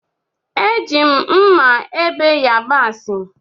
Eji m mmá ebe yabasi.